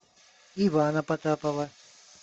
ивана потапова